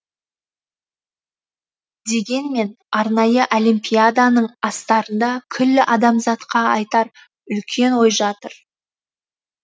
дегенмен арнайы олимпиаданың астарында күллі адамзатқа айтар үлкен ой жатыр